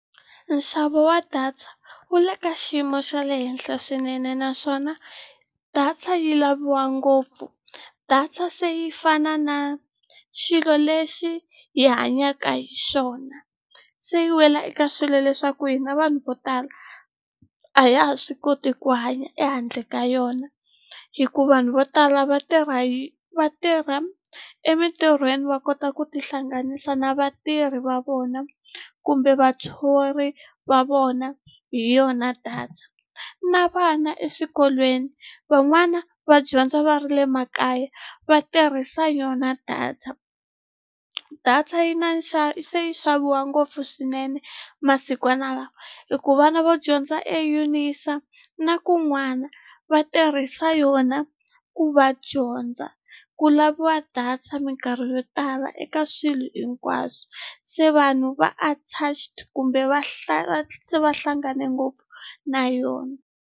Nxavo wa data wu le ka xiyimo xa le henhla swinene naswona data yi laviwa ngopfu data se yi fana na xilo lexi hi hanyaka hi xona se yi wela eka swilo leswaku hina vanhu vo tala a ya ha swi koti ku hanya ehandle ka yona hikuva vanhu vo tala va tirha hi va tirha emintirhweni va kota ku tihlanganisa na vatirhi va vona kumbe vathori va vona hi yona data na vana eswikolweni van'wana va dyondza va ri le makaya va tirhisa yona data data yi na se yi xaviwa ngopfu swinene masikwana lama hikuva vana vo dyondza eUNISA na kun'wana va tirhisa yona ku va dyondza ku laviwa data minkarhi yo tala eka swilo hinkwaswo se vanhu va attached kumbe va se va hlangane ngopfu na yona.